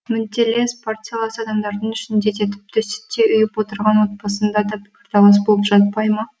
мүдделес партиялас адамдардың ішінде де тіпті сүттей ұйып отырған отбасында да пікірталас болып жатпай ма